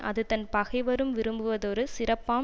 அது தன் பகைவரும் விரும்புவதொரு சிறப்பாம்